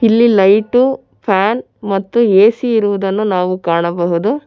ಇಲ್ಲಿ light fan ಮತ್ತು AC ಇರುವುದನ್ನು ನಾವು ಕಾಣಬಹುದು.